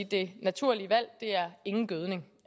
det naturlige valg er ingen gødning